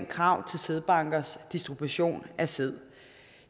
krav til sædbankers distribution af sæd